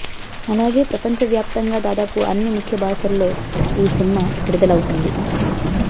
అలాగే ప్రపంచవ్యాప్తంగా దాదాపు అన్ని ముఖ్య భాషల్లో ఈ సినిమా విదుడ్లవుతుంది